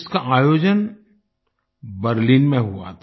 इसका आयोजन बर्लिन में हुआ था